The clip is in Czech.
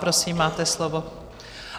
Prosím, máte slovo.